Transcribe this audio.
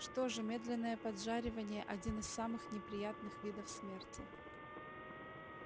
что же медленное поджаривание один из самых неприятных видов смерти